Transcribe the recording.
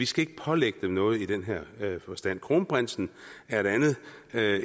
skal pålægge dem noget i den her forstand kronprinsen er et andet